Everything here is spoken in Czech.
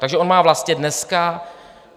Takže on má vlastně dneska...